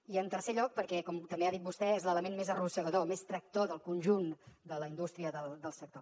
i en tercer lloc perquè com també ha dit vostè és l’element més arrossegador més tractor del conjunt de la indústria del sector